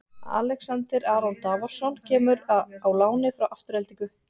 Alexander Aron Davorsson kemur á láni frá Aftureldingu.